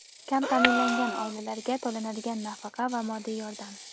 Kam taʼminlangan oilalarga to‘lanadigan nafaqa va moddiy yordam.